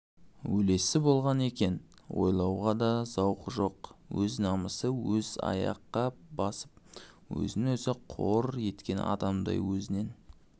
өлесі болған екен ойлауға да зауқы жоқ өз намысын өзі аяққа басып өзін-өзі қор еткен адамдай өзінен